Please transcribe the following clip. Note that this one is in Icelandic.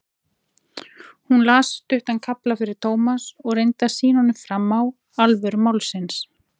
Hún las stuttan kafla fyrir Thomas og reyndi að sýna honum fram á alvöru málsins.